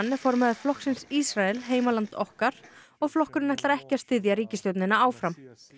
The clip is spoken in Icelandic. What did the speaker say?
er formaður flokksins Ísrael heimaland okkar og flokkurinn ætlar ekki styðja ríkisstjórnina áfram